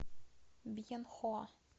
бьенхоа